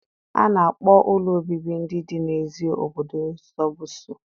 A na-akpọ ụlọ obibi ndị dị n'èzí obodo sọbọbsụ.